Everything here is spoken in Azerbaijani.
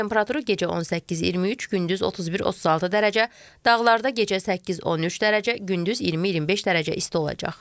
Havanın temperaturu gecə 18-23, gündüz 31-36 dərəcə, dağlarda gecə 8-13 dərəcə, gündüz 20-25 dərəcə isti olacaq.